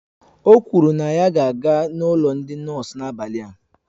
O kwụrụ na ya ga-aga na ụlọ ndị nọọsụ n'abalị a